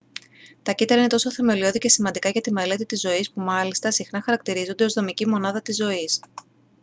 τα κύτταρα είναι τόσο θεμελιώδη και σημαντικά για τη μελέτη της ζωής που μάλιστα συχνά χαρακτηρίζονται ως «δομική μονάδα της ζωής»